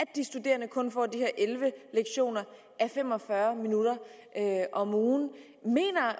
de studerende kun får de her elleve lektioner a fem og fyrre minutter om ugen mener